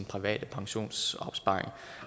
private pensionsopsparing